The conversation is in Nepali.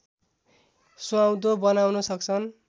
सुहाउँदो बनाउन सक्छन्